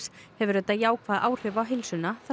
hefur þetta jákvæð áhrif á heilsuna þar sem